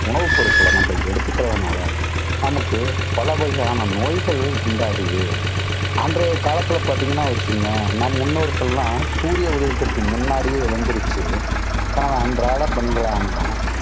உணவுப்பொருட்களை நம்ம எடுத்துக்கறதுனால, நமக்கு பல வகையான நோய்கள் உண்டாகுது. அன்றைய காலத்தில பார்த்தீங்கன்னா ஒரு சின்ன, நம் முன்னோர்களெல்லாம் சூரிய உதயத்துக்கு முன்னாடியே எழுந்திரிச்சு, தன் அன்றாட பணிகளான